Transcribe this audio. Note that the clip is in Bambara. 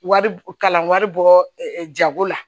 Wari kalan wari bɔ jago la